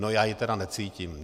No, já ji tedy necítím.